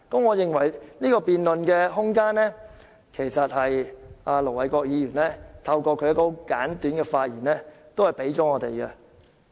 我認為，這個辯論空間是盧偉國議員透過其簡短發言給予我們的。